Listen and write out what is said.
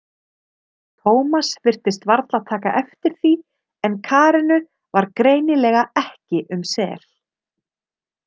Tómas virtist varla taka eftir því en Karenu var greinilega ekki um sel.